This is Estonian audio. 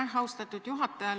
Aitäh, austatud juhataja!